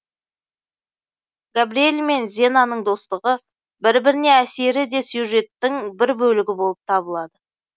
габриэль мен зенаның достығы бір біріне әсері де сюжеттің бір бөлігі болып табылады